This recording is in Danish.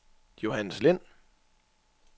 Johannes Lind